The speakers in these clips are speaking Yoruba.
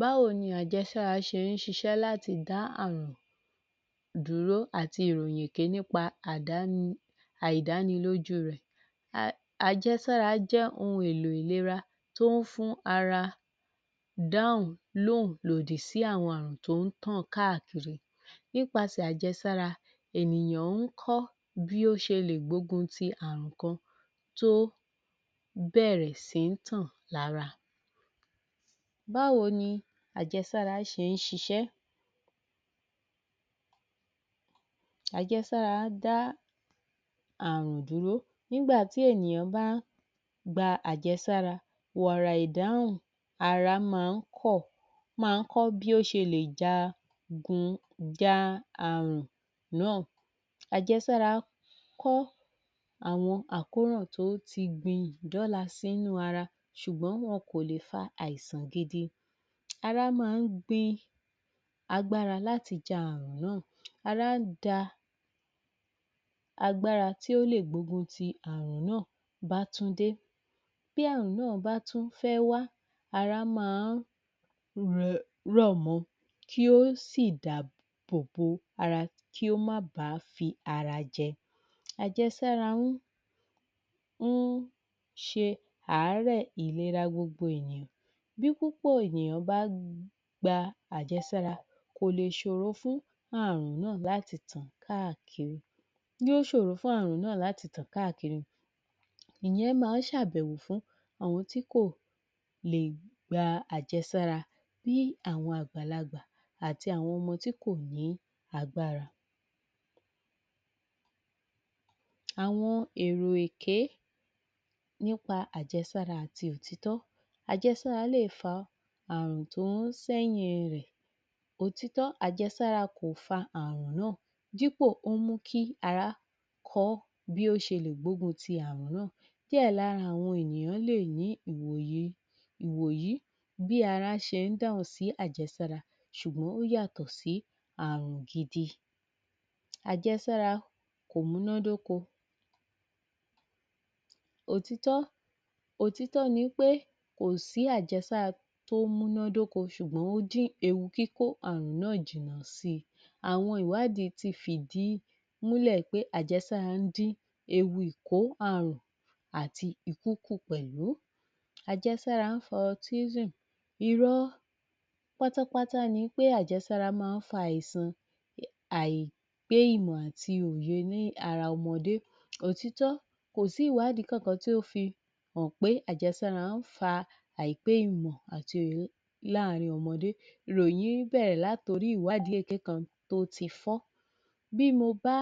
Báwo ni àjẹsára ṣe ń ṣiṣẹ́ láti dá àrun dúró àti ìròyìn èké nípa àdáni àìdáni lójú rẹ̀ Àjẹsára jẹ́ ohun èlò ìlera tó ń fún ara dá lóhùn sí àwọn àrùn tó ń tàn káàkiri nípasẹ̀ àjẹsára ènìyàn ń kọ́ bí ó ṣe lè gbógun ti àrùn kan tó bẹ̀rẹ̀ sí tàn lára Báwo ni àjẹsára ṣe ń ṣiṣẹ́? Àjẹsára dá àrùn duhró nígbà tí ènìyàn bá gba àjẹsára wàrà ìdáhùn ara máa ń kọ bí ó ṣe lè jagun...ja àrùn náà. Ajẹsára kọ́ àwọn àkóràn tó ti gbin ìdọla sínú ara ṣùgbọ́n wọn kò lè fa àìsàn gidi ara máa ń gbin agbára láti ja àrùn náà ara ń ja agbára tí ó lè gbógun ti àrùn náà bá tún dé bí àrùn náà bá tún fẹ́ wá ara máa ń rọ̀ mọ yóò sì dáàbòbò ara kí ó má bá fi ara jẹ, ajẹsára ń ń ṣe àárẹ̀ ìlera gbogbo ènìyàn bí púpọ̀ ènìyàn bá gba àjẹsára kò lè ṣòro fún àrùn náà láti tàn káàkiri yó ṣòro fún àrùn náà láti tàn káàkiri ìyẹn máa ń ṣe àbẹ̀wò fún àwọn tí kò lè gba àjẹsára bí àwọn àgbàlagbà àti àwọn ọmọ tí kò ní agbára Àwọn èrò èké nípa àjẹsára àti òtítọ́. Àjẹ́sára lè fa àrùn tó ń sẹ́yìn rẹ̀ Òtítọ́ àjẹsára kò fa àrùn náà dípò ó ń mú kí ara kọ́ bí ó ṣe lè gbógun ti àrùn náà, díẹ̀ lára àwọn ènìyàn lè ní ìwòye ìwòyí bí ara ṣe ń dáhùn sí ṣùgbọ́n ó yàtọ̀ sí àrùn gidi Àjẹsára kò múná dóko Òtítọ́ ni pé kò sí àjẹsára tó múná dóko ṣùgbọ́n ó dín ewu kíkó àrùn náà si àwọn ìwádìí ti fi ìdí ẹ̀ múlẹ̀ pé àjẹsára ń dín ewu ìkó àrùn àti ìkúkù pẹ̀lú Àjẹsára ń fa autism irọ́ pátápátá ni pé àjẹsára máa ń fa àìsàn àìpé ìmọ̀ àti òye ní ara ọmọdé. Òtítọ́ kò sí ìwádìí kankan tó fihàn pé àjẹsára ń fa àìpé ìmọ̀ àti òye láàrin ọmọdé. Ìròyìn yìí bẹ̀rẹ̀ láti orí ìwádìí èké kan tó ti fọ́, bí mo bá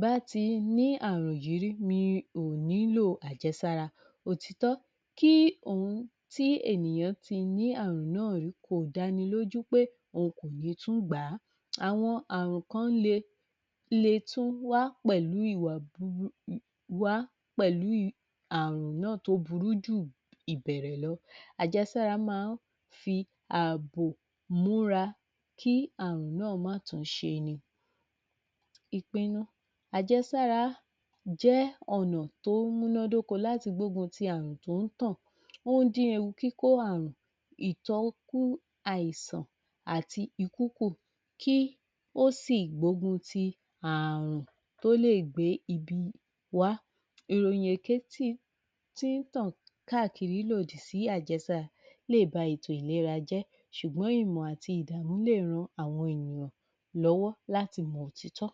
bá ti ní àrùn yí rí mi ò ní í lò àjẹsára. Òtítọ́ kí ohun tí ènìyàn ti ní àrùn náà rí kò dánilójú pé òun kò ní tún gbà á. Àwọn àrùn kan lè tún wá pẹ̀lú àrùn náàtó burú jù ìbẹ̀rẹ̀ lọ. Àjẹsára máa ń fi àbò múra kí àrùn náà má tún ṣeni Ìpinnu, àjẹsára jẹ́ ọ̀nà tó múná dóko láti gbógun ti àrùn tó ń tàn, tó ń dín ewu kíkó àrùn ìtọ́jú àìsàn àti ikú kù kí ó sì gbógun ti àrùn tó lè gbé ibi wá. Ìròyìn èké ti tí ń tàn káàkiri lòdì sí àjẹsára lè ba ètò ìlera jẹ́ ṣùgbọ́n ìmọ̀ àti ìdàmú lè ran àwọn ènìyàn lọ́wọ́ láti mọ òtítọ́